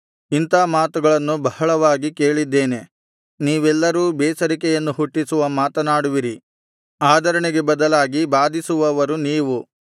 ಇಂಥಾ ಮಾತುಗಳನ್ನು ಬಹಳವಾಗಿ ಕೇಳಿದ್ದೇನೆ ನೀವೆಲ್ಲರೂ ಬೇಸರಿಕೆಯನ್ನು ಹುಟ್ಟಿಸುವ ಮಾತನಾಡುವಿರಿ ಆದರಣೆಗೆ ಬದಲಾಗಿ ಬಾಧಿಸುವವರು ನೀವು